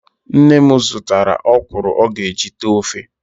Nne m zụtara ọkwụrụ ọ ga-eji tee ofe